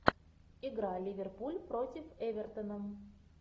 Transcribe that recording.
игра ливерпуль против эвертона